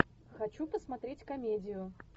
хочу посмотреть комедию